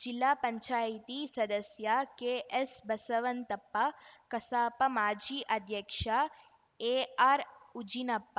ಜಿಲಾ ಪಂಚಾಯ್ತಿ ಸದಸ್ಯ ಕೆಎಸ್‌ಬಸವಂತಪ್ಪ ಕಸಾಪ ಮಾಜಿ ಅಧ್ಯಕ್ಷ ಎಆರ್‌ಉಜಿನಪ್ಪ